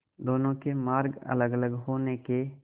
दोनों के मार्ग अलगअलग होने के